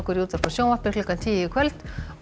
í útvarpi og sjónvarpi klukkan tíu í kvöld og